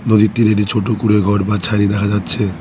নদীর তীরে একটি ছোট কুঁড়ে ঘর বা ছাইনি দেখা যাচ্ছে।